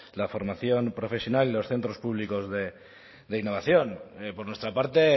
la formación profesional y los centros públicos de innovación por nuestra parte